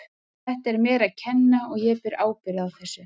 Þetta er mér að kenna og ég ber ábyrgð á þessu.